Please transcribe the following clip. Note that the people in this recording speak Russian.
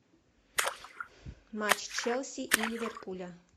матч челси и ливерпуля